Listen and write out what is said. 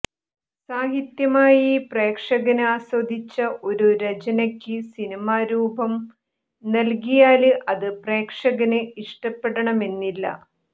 സാഹിത്യമായി പ്രേക്ഷകന് ആസ്വദിച്ച ഒരു രചനയ്ക്ക് സിനിമാ രൂപം നല്കിയാല് അത് പ്രേക്ഷകന് ഇഷ്ടപ്പെടണമെന്നില്ല